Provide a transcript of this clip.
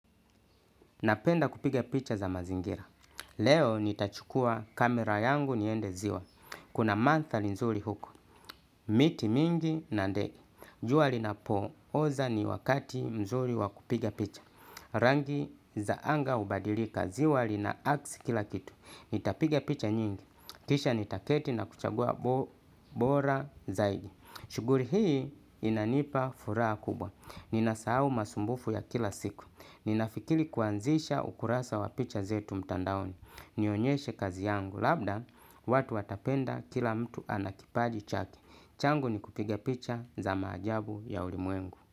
Napenda kupiga picha za mazingira. Leo nitachukua kamera yangu niende ziwa. Kuna manthari nzuri huko. Miti mingi na ndege jua linapo oza ni wakati mzuri wakupiga picha. Rangi zaanga ubadilika ziwa lina aksi kila kitu. Nitapiga picha nyingi. Kisha nitaketi na kuchagua bora zaidi. Shughuli hii inanipa furaha kubwa. Ninasahau masumbufu ya kila siku. Ninafikiri kuanzisha ukurasa wa picha zetu mtandaoni. Nionyeshe kazi yangu. Labda watu watapenda kila mtu ana kipaji chake. Changu ni kupiga picha za maajabu ya ulimwengu.